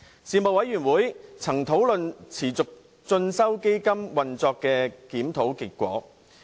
事務委員會曾討論持續進修基金運作的檢討結果。